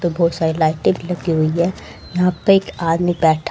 तो बहोत सारी लाइटें भी लगी हुई है यहां पे एक आदमी बैठा--